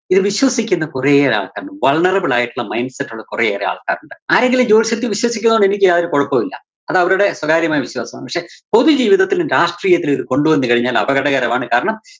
ഇത് വിശ്വസിക്കുന്ന കുറെയേറെ ആള്‍ക്കാരുണ്ട്. vulnerable ആയിട്ടുള്ള mind set ഉള്ള കുറേയേറെ ആള്‍ക്കാരുണ്ട്. ആരെങ്കിലും ജോത്സ്യത്തില് വിശ്വസിക്കുന്നതുകൊണ്ട്‌ എനിക്ക് യാതൊരു കൊഴപ്പവുമില്ലാ. അതവരുടെ സ്വകാര്യമായ വിശ്വാസമാണ്. പക്ഷേ പൊതുജീവിതത്തിലും രാഷ്ട്രീയത്തിലും ഇത് കൊണ്ടുവന്നുകഴിഞ്ഞാൽ അപകടകരമാണ്. കാരണം